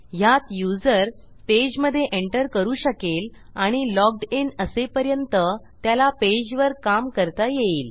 ह्यात युजर पेजमधे एंटर करू शकेल आणि लॉग्ड इन असेपर्यंत त्याला पेजवर काम करता येईल